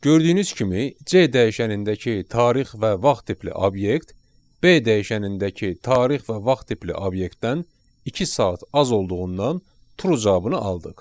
Gördüyünüz kimi C dəyişənindəki tarix və vaxt tipli obyekt B dəyişənindəki tarix və vaxt tipli obyektdən iki saat az olduğundan True cavabını aldıq.